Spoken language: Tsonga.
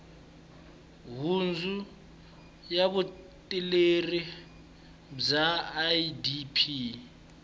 nhundzu ya vuleteri bya idp